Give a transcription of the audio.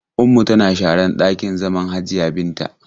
Ummu tana sharan ɗakin zaman Hajiya Binta.